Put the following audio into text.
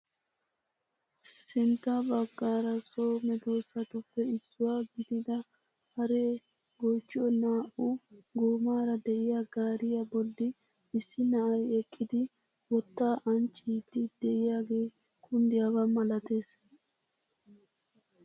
Sintta baggaara so meedosatuppe issuwaa gidida haree goochchiyo naa"u goomara de'iyaa gaariyaa bolli issi na'ay eqqidi wottaa ancciidi de'iyaagee kunddiyaaba malatees!